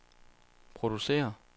producerer